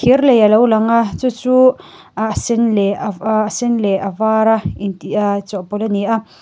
alo lang a chu chu ah a sen leh ah a sen leh a var a inti aa chawhpawlh ani a.